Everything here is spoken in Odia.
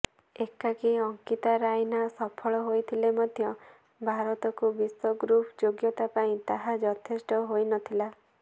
ଏକାକି ଅଙ୍କିତା ରାଇନା ସଫଳ ହୋଇଥିଲେ ମଧ୍ୟ ଭାରତକୁ ବିଶ୍ବଗ୍ରୁପ୍ ଯୋଗ୍ୟତା ପାଇଁ ତାହା ଯଥେଷ୍ଟ ହୋଇନଥିଲା